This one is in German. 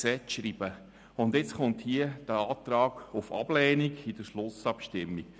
Und nun kommt hier der Antrag auf Ablehnung in der Schlussabstimmung.